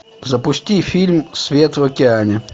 запусти фильм свет в океане